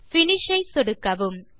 finish ஐ சொடுக்கவும்